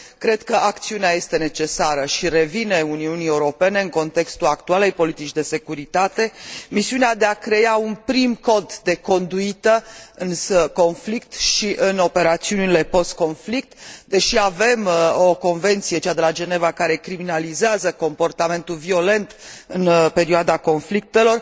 cred că acțiunea este necesară și îi revine Uniunii Europene în contextul actualei politici de securitate misiunea de a crea un prim cod de conduită, în conflicte și în operațiunile post conflict deși avem o convenție, cea de la de la Geneva, care condamnă comportamentul violent în perioada conflictelor.